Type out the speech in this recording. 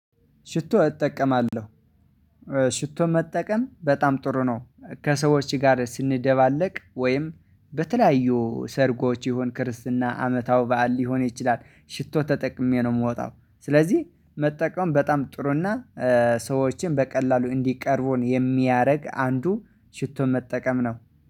ሽቶ እጠቀማለ፤ ሽቶ መጠቀም በጣም ጥሩ ነው፤ ከሰዎች ጋር ስንደባለቅ ወይም በተለያዩ ሰርጎች ይሁን ክርስትና አመታዊ በዓል ሊሆን ይችላል፤ ሽቶ ተጠቅሜ ነው የምወጣው። ስለዚህ መጠቀም በጣም ጥሩና ሰዎችን በቀላሉ እንዲቀርቡን የሚያደርግ አንዱ ሽቶን መጠቀም ነው።